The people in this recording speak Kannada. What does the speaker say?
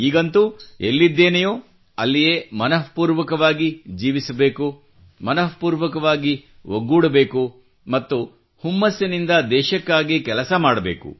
ಈಗಂತೂ ಎಲ್ಲಿದ್ದೇನೆಯೋ ಅಲ್ಲಿಯೇ ಮನಃಪೂರ್ವಕವಾಗಿ ಜೀವಿಸಬೇಕು ಮನಃಪೂರ್ವಕವಾಗಿ ಒಗ್ಗೂಡಬೇಕು ಮತ್ತು ಹುಮ್ಮಸ್ಸಿನಿಂದ ದೇಶಕ್ಕಾಗಿ ಕೆಲಸ ಮಾಡಬೇಕು